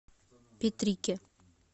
петрике